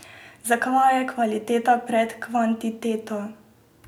Zakaj je kvaliteta pred kvantiteto?